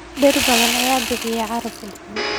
Dhir badan ayaa bixiya caraf udgoon.